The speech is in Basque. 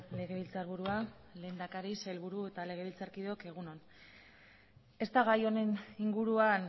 legebiltzarburua lehendakari sailburu eta legebiltzarkideok egun on ez da gai honen inguruan